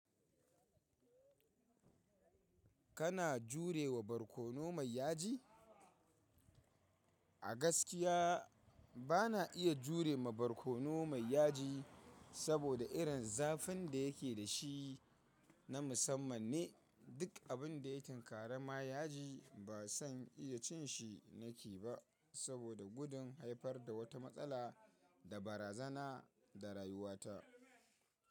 Kana jurewa barkono mai yaji? A gaskiya bana iya jure ma barkono mai yaji, saboda irin zafin da yake da shi na musamman ne. Duk abin da ya tinkara ma yaji ba san iya cin shi nake ba saboda gudun haifar da wata matsala da barazana da rayuwata.